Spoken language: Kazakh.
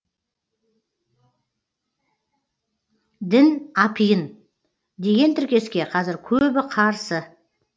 дін апиын деген тіркеске қазір көбі қарсы